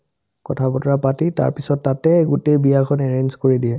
কথা-বতৰা পাতি তাৰপিছত তাতে গোটেই বিয়াখন arrange কৰি দিয়ে